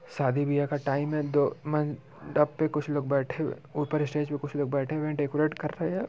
शादी बिहा का टाइम है दो मंडप पे कुछ लोग बैठे है ऊपर स्टेज पे कुछ लोग बैठे हुए है डेकोरेट कर रहे हैं।